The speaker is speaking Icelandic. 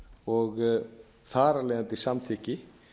og þar af leiðandi samþykki